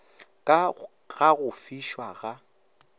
ka ga go fišwa ga